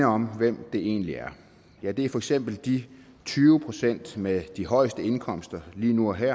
om hvem det egentlig er ja det er for eksempel de tyve procent med de højeste indkomster lige nu og her